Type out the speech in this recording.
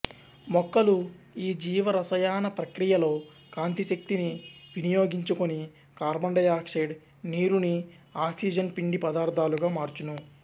మొక్కలు ఈ జీవరసాయనప్రక్రియలో కాంతిశక్తిని వినియొగించుకొని కార్బన్ డై ఆక్సైడ్ నీరుని ఆక్సిజన్ పిండి పదార్ధాలుగా మార్చును